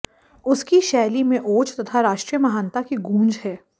उसकी शैली में ओज तथा राष्ट्रीय महानता की गूँज है